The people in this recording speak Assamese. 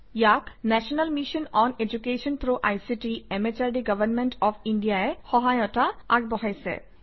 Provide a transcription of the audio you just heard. ইয়াত national mission on education through ICT MHRD government of India ই সহায়তা আগবঢ়াইছে